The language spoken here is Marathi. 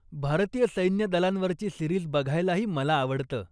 भारतीय सैन्यदलांवरची सीरिज बघायलाही मला आवडतं.